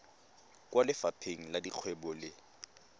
kwa lefapheng la dikgwebo le